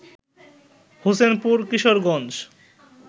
Hossainpur Kishoreganj